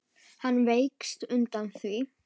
Hann vékst undan því.